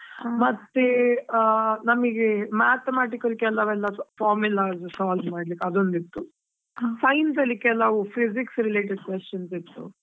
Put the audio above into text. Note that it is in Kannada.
ಮತ್ತೆ, ಆ ನಮಿಗೆ mathematical ಕೆಲವೆಲ್ಲಾ, formulas solve ಮಾಡ್ಲಿಕ್ಕೆ ಅದೊಂದು ಇತ್ತು. Science ಅಲ್ಲಿ ಕೆಲವು physics related questions ಇತ್ತು.